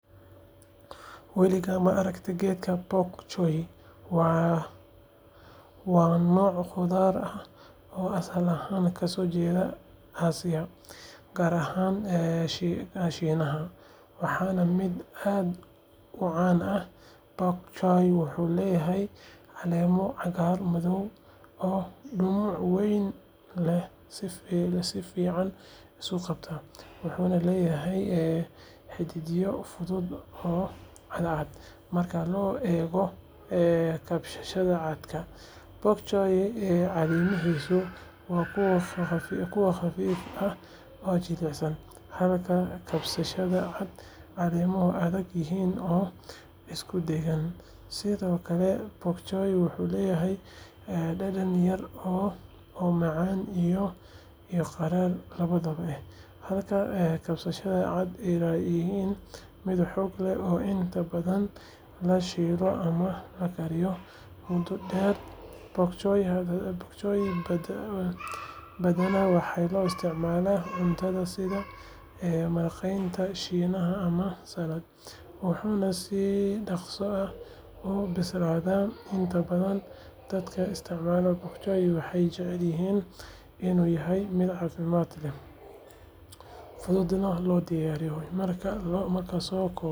Lo'da hilibka loo dhaqo waxay u baahan yihiin daryeel gaar ah oo ku saleysan nafaqo wanaagsan, caafimaad iyo deegaan ku habboon. Waxa ugu muhiimsan waa in lo'da la siiyo cunto tayo sare leh oo hodan ku ah borotiinka iyo nafaqooyinka kale sida fiitamiinada iyo macdanta. Cuntooyinka dabiiciga ah sida cawska cusub, daqiiqda digirta, iyo qudaarta waxay ka caawinayaan lo'da inay helaan nafaqo ku filan oo caafimaadkooda kor u qaada. Sidoo kale, biyaha nadiifka ah waa lama huraan si lo'du u dheefshiido cuntada si fiican. Marka laga hadlayo deegaanka, lo'da hilibka ah waxaa fiican in lagu haysto meelo furan oo hawo wanaagsan leh, si ay uga fogaadaan cudurrada iyo waliba inay helaan dhaqdhaqaaq ku filan. Daryeelka caafimaadna waa muhiim; tallaalada iyo baaritaanada joogtada ah ayaa ka hortaga cudurrada waxyeelada leh. Ugu dambeyn, lo'da hilibka loogu talagalay waxaa fiican in la doorto noocyo fiican oo caan ah sida lo'da Boran ama lo'da Somali, kuwaas oo si dabiici ah u leh hilib tayo sare leh iyo adkaysi deegaan. Markasta waxaa lagu dadaalaa in lo'da la siiyo daryeel buuxa si hilibkoodu u noqdo mid tayo sare leh, macaan, isla markaana caafimaad qaba.